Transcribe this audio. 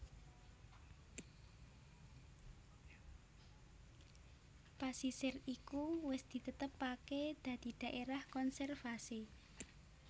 Pasisir iku wis ditetepaké dadi dhaérah konservasi